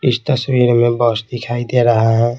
इस तस्वीर में बस दिखाई दे रहा है।